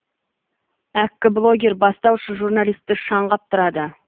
әккі блогер бастауыш журналистті шаң қаптырады